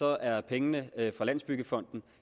er pengene fra landsbyggefonden